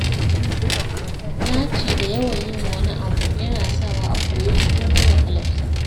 Naci da yawan yin wani abu, yana sawa a koye shi komai wahalarsa.